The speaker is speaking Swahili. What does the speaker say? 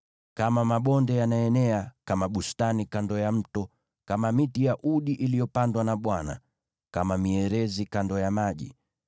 “Kama mabonde, yanaenea, kama bustani kando ya mto, kama miti ya udi iliyopandwa na Bwana , kama mierezi kando ya maji.